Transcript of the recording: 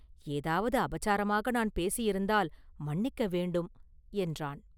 ஏதாவது அபசாரமாக நான் பேசியிருந்தால் மன்னிக்க வேண்டும்” என்றான்.